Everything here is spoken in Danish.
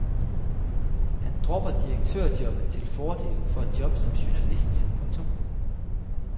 Han dropper direktørjobbet til fordel for et job som journalist. punktum